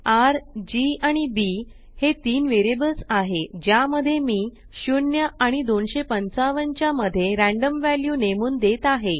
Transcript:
R G आणि B हे तीन वेरियबल्स आहे ज्या मध्ये मी 0 आणि 255 च्या मध्ये रॅंडम वॅल्यू नेमून देत आहे